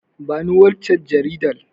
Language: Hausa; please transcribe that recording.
Bani waccan Jaridar